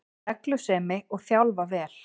Reglusemi, og þjálfa vel